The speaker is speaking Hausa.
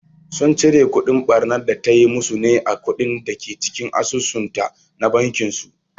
Sun cire kudin ɓarnar da tayi musu ne a kuɗin dake cikin asusun ta na bankin su